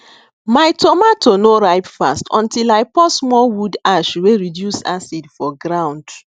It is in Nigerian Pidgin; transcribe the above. my tomato no ripe fast until i pour small wood ash wey reduce acid for ground